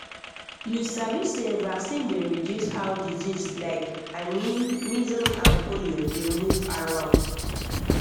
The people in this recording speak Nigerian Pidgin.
you sabi say vaccine dey reduce how disease like i mean measles and polio dey move around